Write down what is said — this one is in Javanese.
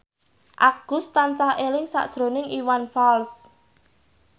Agus tansah eling sakjroning Iwan Fals